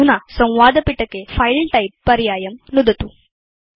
अधुना संवादपिटके फिले टाइप पर्यायं नुदतु